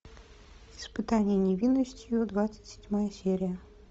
испытание невинностью двадцать седьмая серия